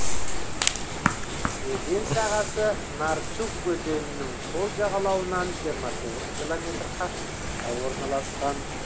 өзен сағасы нарчуг өзенінің сол жағалауынан жиырма тоғыз километр қашықтықта орналасқан